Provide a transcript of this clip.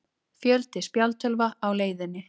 Fjöldi spjaldtölva á leiðinni